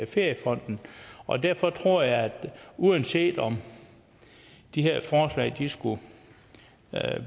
feriefonden og derfor tror jeg at vi uanset om de her forslag skulle